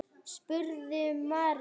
spurði María.